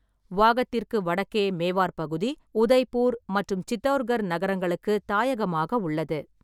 வாகத்திற்கு வடக்கே மேவார் பகுதி உதய்பூர் மற்றும் சித்தவுர்கர் நகரங்களுக்கு தாயகமாக உள்ளது.